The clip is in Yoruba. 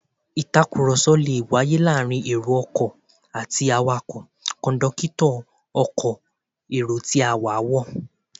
Ìtàkùrọ̀sọ lè wáyé láàárín èrò ọkọ̀ àti awakọ̀, kọ̀ńdọ́kítọ̀ ọkọ̀ èrò tí a, wọ́